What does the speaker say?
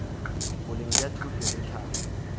boleng bja thuto le tlhahlo